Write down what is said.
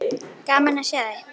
Gaman að sjá þig.